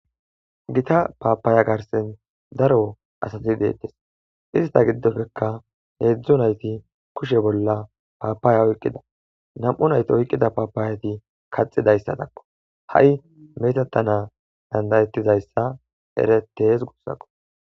Hita paapaaya garsen daro asati deettes ista giddofekka heedzdzu nayti kushe bolla paapaaya oyqqida nam'u nayti oyqqida paapaayati kaxidayssa takko ha'i metetana dandayettizayssa eretees gussaqo.